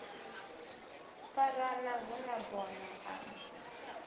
farana hu na bono a